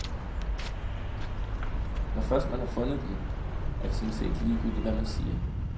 Når først man har fundet den, er det sådan set ligegyldigt, hvad man siger.